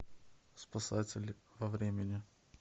спасатели во времени